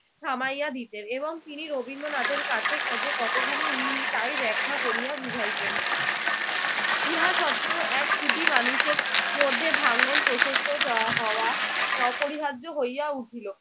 থামাইয়া দিতেন এবং তিনি রবীন্দ্রনাথের কাছে খোঁজে কতখানি ঋণী তাই ব্যাখ্যা করিয়া বুঝাইতেন। ইহা সত্ত্বেও এক ছুটি মানুষের মধ্যে ভাঙ্গন প্রশস্তত আহ হওয়া অপরিহার্য হইয়া উঠিল।